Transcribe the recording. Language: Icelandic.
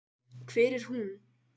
Hver er hún?